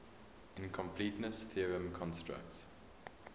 incompleteness theorem constructs